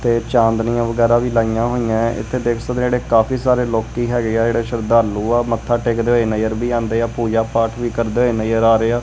ਤੇ ਚਾਂਦਨਿਆਂ ਵਗੈਰਾ ਵੀ ਲਾਈਆਂ ਹੋਈ ਆਂ ਹੈਂ ਇੱਥੇ ਦੇਖ ਸਕਦੇਆ ਜੇਹੜੇ ਕਾਫੀ ਸਾਰੇ ਲੋਕੱਕੀ ਹੈਗੇ ਆ ਜੇਹੜੇ ਸ਼ਰਧਾਲੂ ਆ ਮੱਤਥਾ ਟੇਕਦੇ ਹੋਏ ਨਜਰ ਵੀ ਆਂਦੇ ਆ ਪੂਜਾ ਪਾਠ ਵੀ ਕਰਦੇ ਹੋਏ ਨਜ਼ਰ ਆ ਰਹੇ ਹਾਂ।